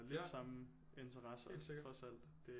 Ja helt sikkert